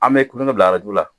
An bɛ bila arajo la